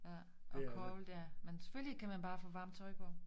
Ja og koldt ja men selvfølgelig kan man bare få varmt tøj på